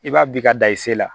I b'a bi ka dan i se la